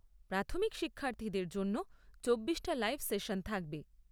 প্রাথমিক শিক্ষার্থীদের জন্য চব্বিশটা লাইভ সেশন থাকবে।